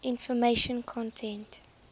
information content